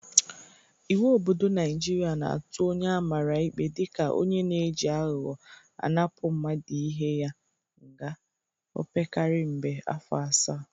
Iwu obodo Naịjịrịa na-atụ onye amara ikpe dịka onye na-eji aghọghọ anapụ mmadụ ihe ya nga opekarị mbe afọ asaa.